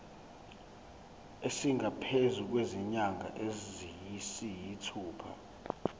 esingaphezu kwezinyanga eziyisithupha